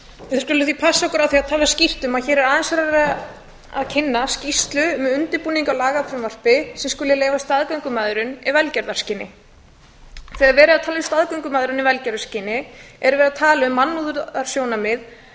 við skulum því passa okkur á að tala skýrt um að hér er aðeins verið að kynna skýrslu um undirbúning á lagafrumvarpi sem skuli leyfa staðgöngumæðrun í velgjörðarskyni þegar verið er að tala um staðgöngumæðrun í velgjörðarskyni er verið að tala um mannúðarsjónarmið